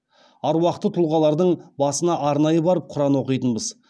аруақты тұлғалардың басына арнайы барып құран оқитынбыз